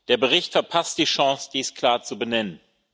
Der Bericht verpasst die Chance, dies klar zu benennen.